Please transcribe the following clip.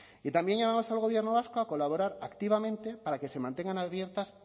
y también llamamos al gobierno vasco a colaborar activamente para que se mantengan abiertas